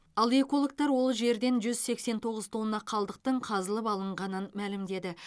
ал экологтар ол жерден жүз сексен тоғыз тонна қалдықтың қазылып алынғанын мәлімдеді